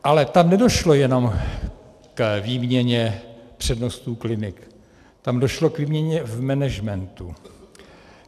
Ale tam nedošlo jenom k výměně přednostů klinik, tam došlo k výměně v managementu.